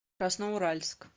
красноуральск